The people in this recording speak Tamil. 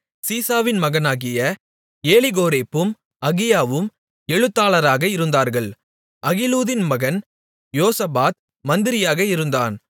சீசாவின் மகனாகிய ஏலிகோரேப்பும் அகியாவும் எழுத்தர்களாக இருந்தார்கள் அகிலூதின் மகன் யோசபாத் மந்திரியாக இருந்தான்